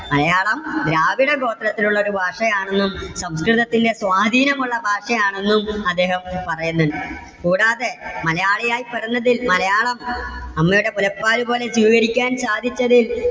മലയാളം ദ്രാവിഡ ഗോത്രത്തിൽ ഉള്ള ഒരു ഭാഷയാണെന്നും സംസ്കൃതത്തിന്റെ സ്വാധീനം ഉള്ള ഭാഷയാണെന്നും അദ്ദേഹം പറയുന്നുണ്ട്. കൂടാതെ മലയാളി ആയി പിറന്നതിൽ മലയാളം അമ്മയുടെ മുലപ്പാല്പോലെ സ്വീകരിക്കാൻ സാധിച്ചതിൽ